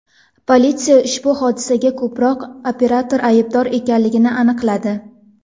Politsiya ushbu hodisaga ko‘prik operatori aybdor ekanligini aniqladi.